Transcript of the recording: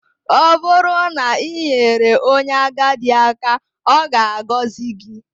Ọ bụrụ na i nyere onye agadi aka, ọ ga-agọzi gị